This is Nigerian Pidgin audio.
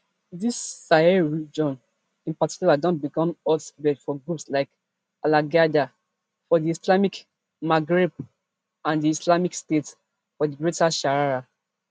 di sahel region in particular don become hotbed for groups like alqaeda for di islamic maghreb and di islamic state for di greater sahara